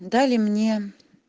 дали мне